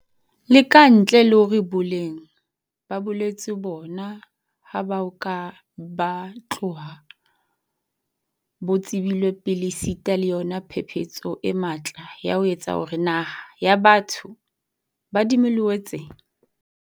Le ka ntle le hore boleng ba bolwetse bona ha bo a ka ba tloha bo tsebilwe pele esita le yona phephetso e matla ya ho etsa hore naha ya batho ba dimiliyone tse.